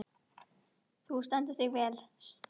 Þú stendur þig vel, Styrr!